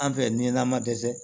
An fɛ ni n'a ma dɛsɛ